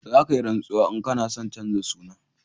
Za ka yi rantsuwa in ka na son chanja suna